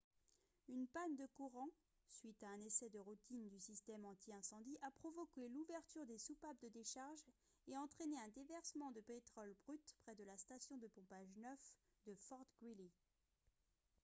une panne de courant suite à un essai de routine du système anti-incendie a provoqué l'ouverture des soupapes de décharge et entraîné un déversement de pétrole brut près de la station de pompage 9 de fort greely